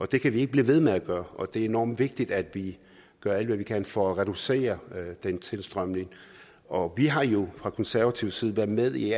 det kan vi ikke blive ved med at gøre og det er enormt vigtigt at vi gør alt hvad vi kan for at reducere den tilstrømning og vi har jo fra konservative side været med i